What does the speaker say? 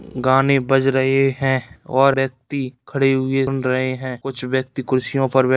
गाने बज रहे हैं और व्यक्ति खड़े हुए सुन रहे हैं। कुछ व्यक्ति कुर्सियों पर--